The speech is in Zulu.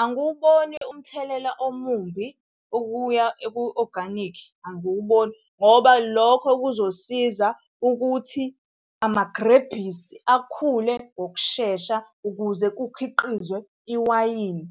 Angiwuboni umthelela omumbi ukuya ku-oganikhi, angiwuboni, ngoba lokho kuzosiza ukuthi amagrebhisi akhule ngokushesha ukuze kukhiqizwe iwayini.